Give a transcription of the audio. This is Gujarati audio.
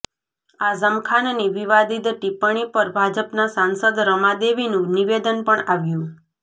આઝમ ખાનની વિવાદિત ટિપ્પણી પર ભાજપના સાંસદ રમા દેવીનું નિવેદન પણ આવ્યું